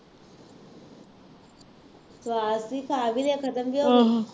ਸਵਾਦ ਵੀ ਖਾ ਵੀ ਲਏ ਖਤਮ ਵੀ ਹੋ ਗਏ।